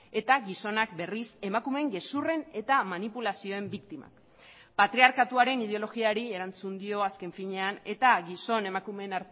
eta gizonak berriz emakumeen gezurren eta manipulazioen biktimak patriarkatuaren ideologiari erantzun dio azken finean eta gizon emakumeen